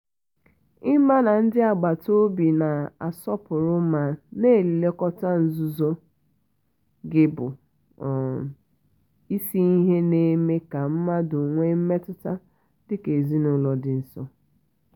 ị́mà na ndị agbata obi na-asọpụrụ ma na-elekọta nzuzo gị bụ um isi ihe na-eme ka mmadụ nwee mmetụta dị ka ezinụlọ dị nso.